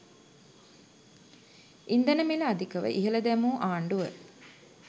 ඉන්ධන මිල අධිකව ඉහළ දැමූ ආණ්ඩුව